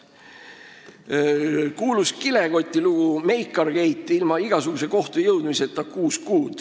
See kuulus kilekotilugu, Meikargate: kuus kuud ilma igasuguse kohtusse jõudmiseta.